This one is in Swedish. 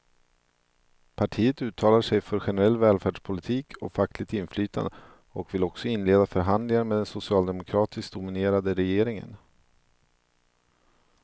Partiet uttalar sig för generell välfärdspolitik och fackligt inflytande och vill också inleda förhandlingar med den socialdemokratiskt dominerade regeringen.